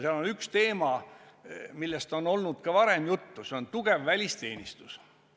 Seal on üks teema, millest on olnud ka varem juttu, see on tugev välisteenistus.